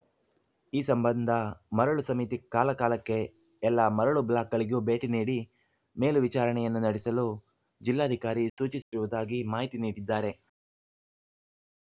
ಈ ಸಂಬಂಧ ಮರಳು ಸಮಿತಿ ಕಾಲಕಾಲಕ್ಕೆ ಎಲ್ಲ ಮರಳು ಬ್ಲಾಕ್‌ಗಳಿಗೂ ಭೇಟಿ ನೀಡಿ ಮೇಲು ವಿಚಾರಣೆಯನ್ನೂ ನಡೆಸಲು ಜಿಲ್ಲಾಧಿಕಾರಿ ಸೂಚಿಸಿರುವುದಾಗಿ ಮಾಹಿತಿ ನೀಡಿದ್ದಾರೆ